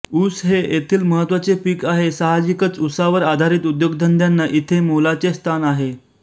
ऊस हे येथील महत्त्वाचे पीक आहे साहजिकच उसावर आधारित उद्योगधंद्याना इथे मोलाचे स्थान आहे